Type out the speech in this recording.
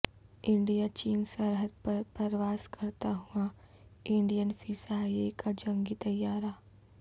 India چین سرحد پر پرواز کرتا ہوا انڈین فضائیہ کا جنگی طیارہ